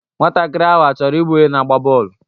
Nwatakịrị ahụ achọrọ ịbụ onye na-agba bọọlụ?